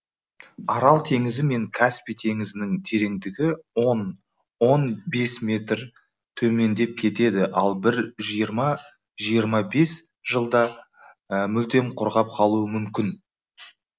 арал теңізі мен каспий теңізінің тереңдігі он он бес метр төмендеп кетеді ал бір жиырма жиырма бес жылда мүлдем құрғап қалуы мүмкін